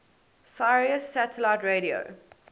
sirius satellite radio